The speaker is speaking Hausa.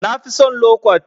Na fi son lo kwat.